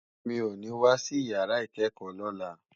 Mi ó ni wásí iyàrá ikèékò lòlá